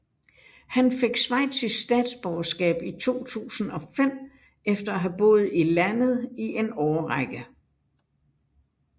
Han fik schweizisk statsborgerskab i 2005 efter at have boet i landet i en årrække